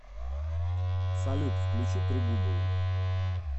салют включи трегубову